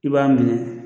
I b'a minɛ